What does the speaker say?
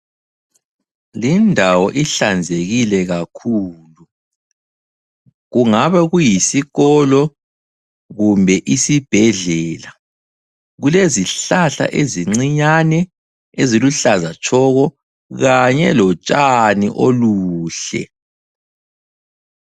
Lindawo ihlanzekile kakhulu, kungabe kuyisikolo kumbe isibhedlela. Kulezihlahla ezincinyane eziluhlaza tshoko kanye lotshani oluhle.